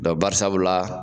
barisabula.